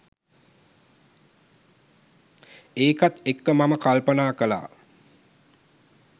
ඒකත් එක්ක මම කල්පනා කළා